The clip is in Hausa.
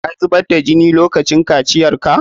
Ka zubar da jini lokacin kaciya?